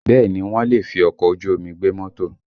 Bẹẹ ni, wọ́n lè fi ọkọ̀ ojú omi gbé mọ́tò